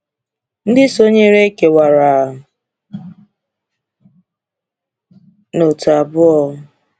Ndị sonyere kewara n’òtù abụọ.